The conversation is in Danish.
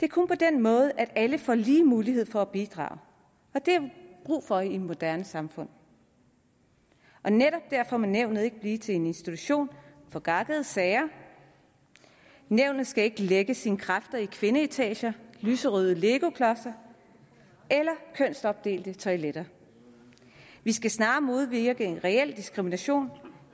det er kun på den måde at alle får lige mulighed for at bidrage det har vi brug for i et moderne samfund netop derfor må nævnet ikke blive til en institution for gakkede sager nævnet skal ikke lægge sine kræfter i kvindeetager lyserøde legoklodser eller kønsopdelte toiletter vi skal snarere modvirke en reel diskrimination